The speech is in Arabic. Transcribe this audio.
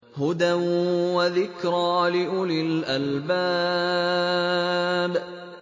هُدًى وَذِكْرَىٰ لِأُولِي الْأَلْبَابِ